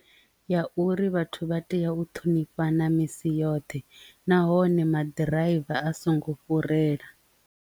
Ya uri vhathu vha tea u ṱhonifhana misi yoṱhe nahone maḓi ḓiraiva a songo fhurela.